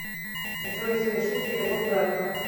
джой совершить перевод брату